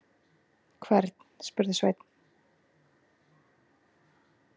Hvern, spurði Sveinn.